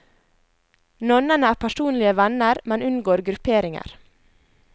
Nonnene er personlige venner, men unngår grupperinger.